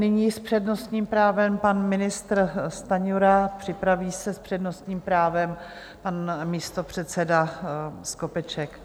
Nyní s přednostním právem pan ministr Stanjura, připraví se s přednostním právem pan místopředseda Skopeček.